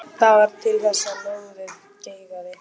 Það varð til þess að lóðið geigaði.